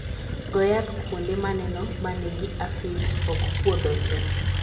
go yath e kuonde maneno manigi aphids okpuodho tee.